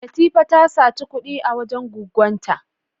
Latifa ta saci kud'i a wajen gwaggon ta.